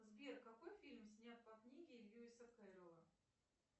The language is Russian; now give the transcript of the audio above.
сбер какой фильм снят по книге льюиса кэрролла